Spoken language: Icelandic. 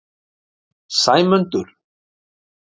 Sæmundur